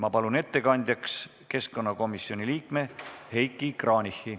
Ma palun ettekandjaks keskkonnakomisjoni liikme Heiki Kranichi.